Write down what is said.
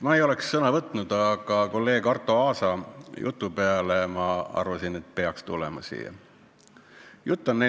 Ma ei oleks sõna võtnud, aga kolleeg Arto Aasa jutu peale arvasin, et peaks veel kord pulti tulema.